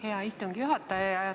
Hea istungi juhataja!